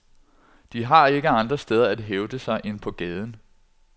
De har ikke andre steder at hævde sig end på gaden.